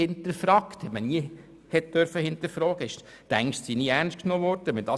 Bisher durfte man das Asylwesen kaum hinterfragen und die Ängste wurden kaum ernst genommen.